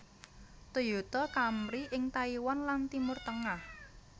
Toyota Camry ing Taiwan lan Timur Tengah